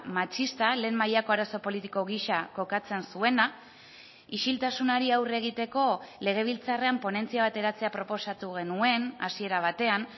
matxista lehen mailako arazo politiko gisa kokatzen zuena isiltasunari aurre egiteko legebiltzarrean ponentzia bat eratzea proposatu genuen hasiera batean